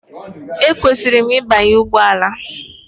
Ekwesịrị m ịbanye ụgbọ ala?